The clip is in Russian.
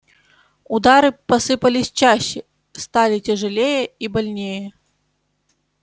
удары посыпались чаще стали тяжелее и больнее